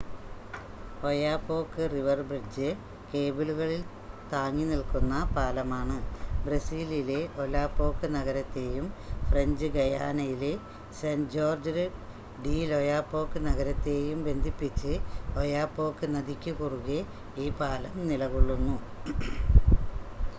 Oyapock river bridge കേബിളുകളിൽ താങ്ങി നിൽക്കുന്ന പാലമാണ് ബ്രസീലിലെ ഒലാപോക്ക് നഗരത്തെയും ഫ്രഞ്ച് ഗയാനയിലെ സെൻ്റ് ജോർജ്ജസ് ഡി ലൊയാപോക്ക് നഗരത്തെയും ബന്ധിപ്പിച്ച് ഒയാപോക്ക് നദിക്കു കുറുകെ ഈ പാലം നിലകൊള്ളുന്നു